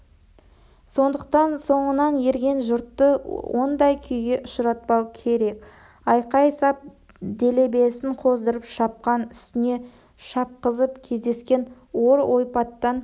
сондықтан соңынан ерген жұртты ондай күйге ұшыратпау керек айқай сап делебесін қоздырып шапқан үстіне шапқызып кездескен ор ойпаттан